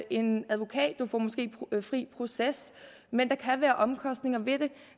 en advokat man får måske fri proces men der kan være omkostninger ved det